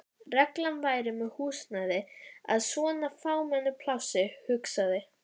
reglan væri með húsnæði í svona fámennu plássi, hugsaði